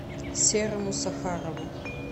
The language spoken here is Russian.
серому сахарову